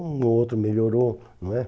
Um ou outro melhorou, não é?